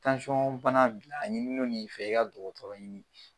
bana b'i la a ɲininen no i fɛ i ka dɔgɔtɔrɔ ɲini bi